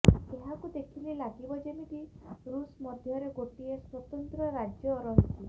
ଏହାକୁ ଦେଖିଲେ ଲାଗିବ ଯେମିତି ରୁଷ ମଧ୍ୟରେ ଗୋଟିଏ ସ୍ୱତନ୍ତ୍ର ରାଜ୍ୟ ରହିଛି